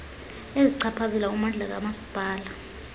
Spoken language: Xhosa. ezichaphazela ummandla kamasipala